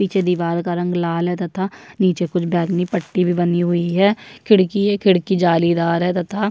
पीछे दिवार का रंग लाल है तथा नीचे कुछ बैगनी पट्टी भी बनी हुए है खिड़की है खिड़की जालीदार है तथा --